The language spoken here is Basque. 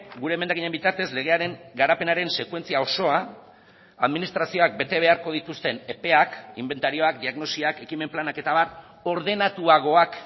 gure emendakinen bitartez legearen garapenaren sekuentzia osoa administrazioak bete beharko dituzten epeak inbentarioak diagnosiak ekimen planak eta abar ordenatuagoak